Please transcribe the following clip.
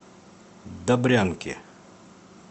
добрянке